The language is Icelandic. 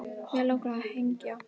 Mig langar að hengja